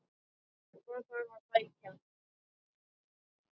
Hvað þarf að sækja?